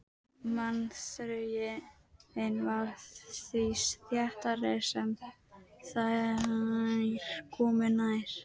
Mannþröngin varð því þéttari sem þeir komu nær.